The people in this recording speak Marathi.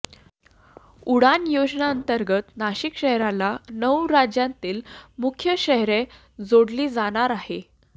उडान योजनेंतर्गत नाशिक शहराला नऊ राज्यांतील मुख्य शहरे जोडली जाणार आहे